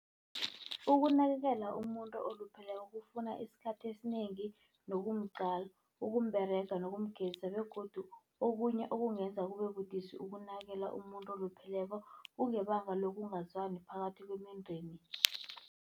Ukunakekela umuntu olupheleko kufuna isikhathi esinengi nokumqala. Ukumberega nokumgezisa begodu okunye okungenza kube budisi ukunakekela umuntu olupheleko, kungebanga lokungazwani phakathi kwemindeni.